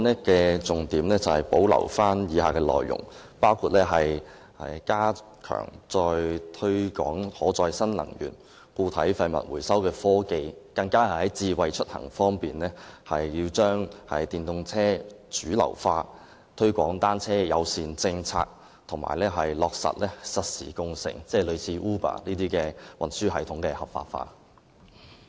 我的修正案保留了以下重點內容：包括加強推廣可再生能源、固體廢物回收科技；在智慧出行方面，更加要推動電動車主流化、推廣單車友善措施，以及落實實時共乘，即如 Uber 這類運輸系統的合法化。